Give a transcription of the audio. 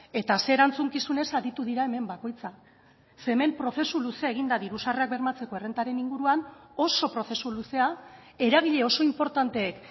eta ze erantzukizunez aritu dira hemen bakoitza ze hemen prozesu luzea egin da diru sarrerak bermatzeko errentaren inguruan oso prozesu luzea eragile oso inportanteek